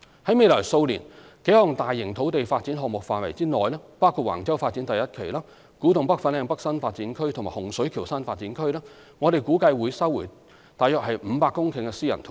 在未來數年幾項大型土地發展項目的範圍內，包括橫洲發展第一期、古洞北/粉嶺北新發展區及洪水橋新發展區，我們估計會收回約500公頃的私人土地。